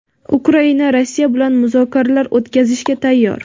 Ukraina Rossiya bilan muzokaralar o‘tkazishga tayyor.